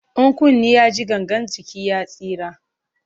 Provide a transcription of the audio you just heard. In kunni ya ji, gangan jiki ya tsira.